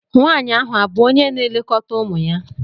Nwanyị ahụ abụ onye na-elekọta ụmụ ya?